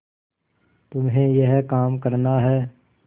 तुम्हें यह काम करना है